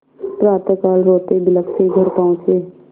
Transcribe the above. प्रातःकाल रोतेबिलखते घर पहुँचे